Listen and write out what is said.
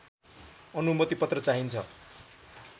अनुमतिपत्र चाहिन्छ